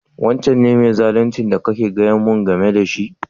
Wancan ne mai zaluncin da kana gaya mu game da shi?